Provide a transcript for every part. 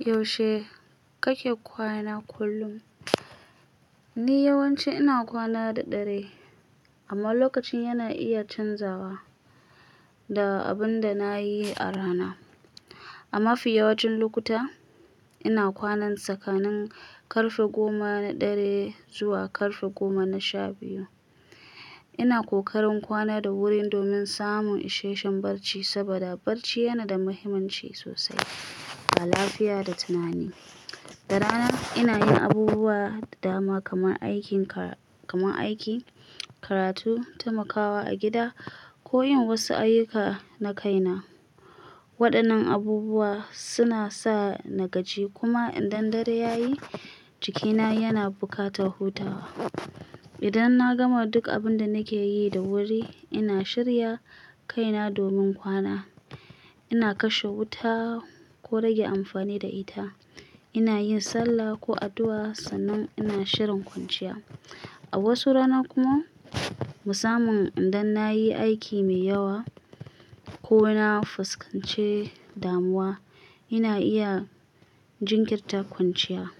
Yaushe kake kwana kullum? Ni yawanci ina kwana da ɗare, amma lokacin yana iya canzawa da abin da nayi a rana. A mafi yawancin lokuta, ina kwana tsakanin ƙarfe goma na dare zuwa ƙarfe goma na shabiyu. Ina kokarin kwana da wuri domin samun isheshen barci saboda barci yana da muhimmanci sosai ga lafiya da tunani. Da rana ina yin abubuwa da dama kamar aikin ka-- kamar aiki, karatu, taimakawa a gida ko yin wasu ayyuka na kaina. Waɗannan abubuwa suna sa na gaji kuma idan dare ya yi, jikina yana buƙatar hutawa. Idan na gama duk abin da nake yi da wuri, ina shirya kaina domin kwana. Ina kashe wuta ko rage amfani da ita. Ina yin sallah ko addu'a sannan ina shirin kwanciya. A wasu rana kuma, musamman idan nayi aiki mai yawa ko na fuskance damuwa, ina iya jinkirta kwanciya.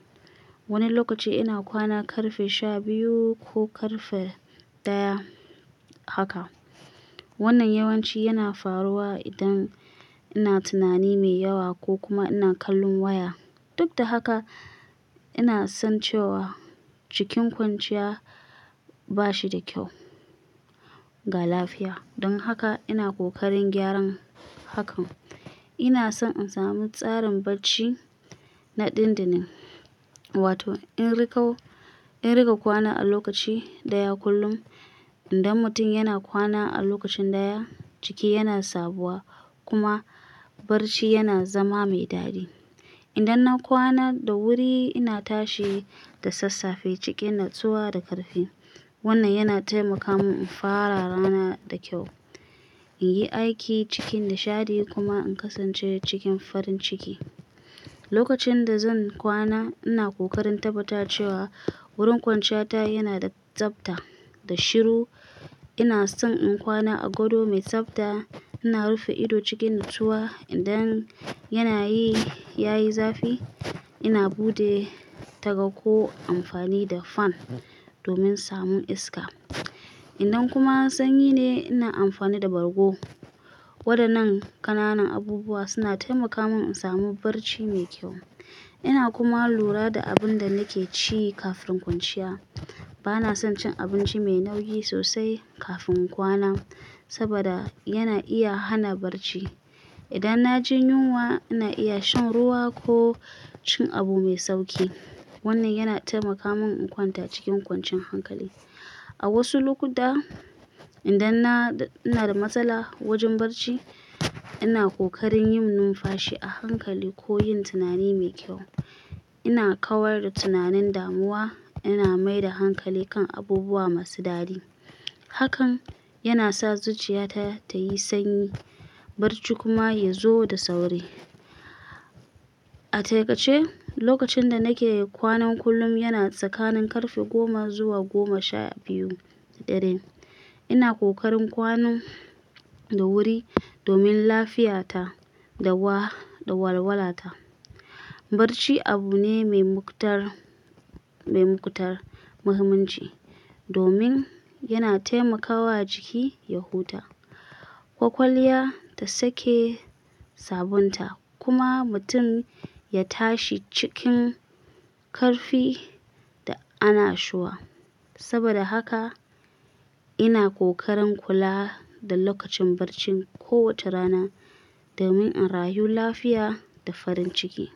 Wani lokaci ina kwana ƙarfe shabiyu ko ƙarfe ɗaya haka. Wannan yawanci yana faruwa idan ina tunani mai yawa ko kuma ina kallon waya. Duk da haka, ina san cewa cikin kwanciya ba shi da kyau ga lafiya. Don haka ina kokarin gyaran hakan. Ina so in sami tsarin barci na ɗinɗinin, wato in riƙo, in riƙa kwana a lokaci ɗaya kullum. Idan mutum yana kwana a lokacin ɗaya, jiki yana sabuwa kuma barci yana zama mai daɗi. Idan na kwana da wuri, ina tashi da sassafe cikin natsuwa da ƙarfi. Wannan yana taimaka min in fara rana da kyau, in yi aiki cikin nishaɗi kuma in kasance cikin farin ciki. Lokacin da zan kwana, ina kokarin tabbata cewa wurin kwanciya ta yana da tsafta da shiru. Ina son in kwana a gado mai tsafta. Ina rufe ido cikin natsuwa idan yana yi, yayi zafi. Ina buɗe taga ko amfani da fan domin samun iska. Idan kuma sanyi ne, ina amfani da bargo. Waɗannan ƙananan abubuwa suna taimaka min in samu barci mai kyau. Ina kuma lura da abin da nake ci kafin kwanciya. Ba na son cin abinci mai nauyi sosai kafin kwana saboda yana iya hana barci. Idan na ji yunwa, ina iya shan ruwa ko cin abu mai sauƙi. Wannan yana taimaka min in kwanta cikin kwancin hankali. A wasu lokuta, idan na, ina da matsala wajen barci, ina kokarin yin numfashi a hankali ko yin tunani mai kyau. Ina kawar da tunanin damuwa, ina mai da hankali kan abubuwa masu daɗi. Hakan yana sa zuciya ta ta yi sanyi, barci kuma ya zo da sauri. A taƙaice, lokacin da nake kwanan kullum yana tsakanin ƙarfe goma zuwa goma sha biyu da ɗare. Ina kokarin kwano da wuri domin lafiyata da wa-- da walwala ta. Barci abu ne mai muktar, mai mukutar muhimmanci domin yana taimakawa jiki ya huta, ƙwaƙwalwa ta sake sabunta kuma mutum ya tashi cikin ƙarfi da ana shuwa. Saboda haka ina kokarin kula da lokacin barcin kowace rana domin in rayu lafiya da farin ciki.